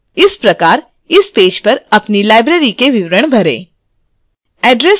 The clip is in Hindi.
इसी प्रकार इस पेज पर अपनी librarys के विवरण भरें